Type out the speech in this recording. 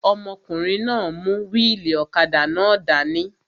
Ọmọkùnrin náà n mú wíìlì ọ̀kadà náà dání